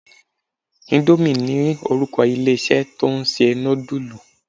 Indomie ni orúkọ ilé-isé tó ń ṣe nudulu.